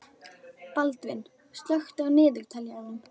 Baldvin, slökktu á niðurteljaranum.